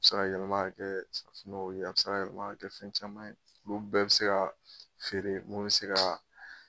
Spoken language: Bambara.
A bɛ se ka yɛlɛma ka kɛ suma ye, a bɛ se ka yɛlɛma ka kɛ fɛn caman ye olu bɛɛ bɛ se ka feere minnu bɛ se ka